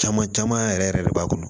Caman caman yɛrɛ yɛrɛ de b'a kɔnɔ